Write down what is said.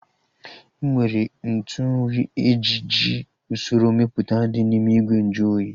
Enwere ntụ nri ji eji usoro mepụta dị n'ime ìgwè nju oyi